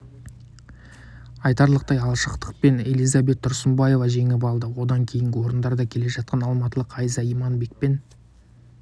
айтарлықтай алшақтықпен элизабет тұрсынбаева жеңіп алды одан кейінгі орындарда келе жатқан алматылық айза иманбек пен